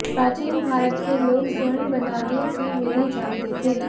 प्राचीन भारत के लोग स्वर्ण बनाने की विधि जानते थे